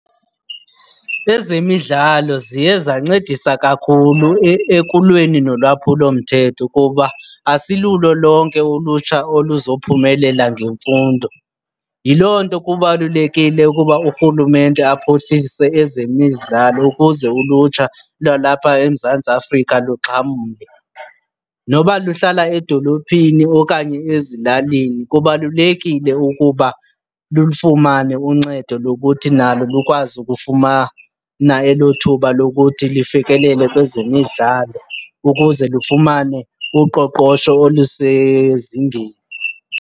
Ezemidlalo ziye zancedisa kakhulu ekulweni nolwaphulomthetho kuba asilulo lonke ulutsha oluzophumelela ngemfundo. Yiloo nto kubalulekile ukuba uRhulumente aphuhlise ezemidlalo ukuze ulutsha lwalapha eMzantsi Afrika luxhamle. Noba luhlala edolophini okanye ezilalini kubalulekile ukuba lulufumane uncedo lokuthi nalo lukwazi ukufumana elo thuba lokuthi lifikelele kwezemidlalo ukuze lufumane uqoqosho olusezingeni.